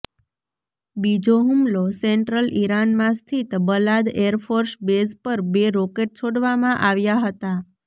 બીજો હુમલો સેન્ટ્રલ ઈરાનમાં સ્તિથ બલાદ એરફોર્સ બેઝ પર બે રોકેટ છોડવામાં આવ્યા હતા